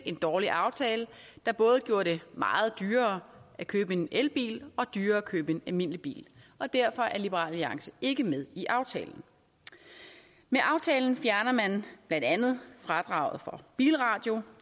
en dårlig aftale der både gjorde det meget dyrere at købe en elbil og dyrere at købe en almindelig bil og derfor er liberal alliance ikke med i aftalen med aftalen fjerner man blandt andet fradraget for bilradio